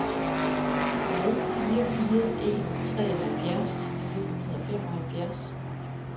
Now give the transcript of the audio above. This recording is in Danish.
nul fire fire en treoghalvfjerds fire hundrede og femoghalvfjerds